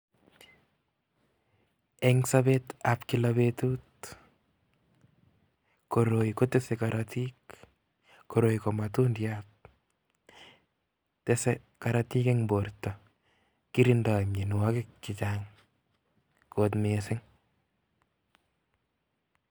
Eng' sobet ab kila betut, koroi kotese korotik, koroi ko matundyat, tese korotik eng' borto, kirindoi meinwogik chichang' kot mising.